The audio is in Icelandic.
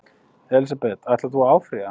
Elísabet: Ætlar þú að áfrýja?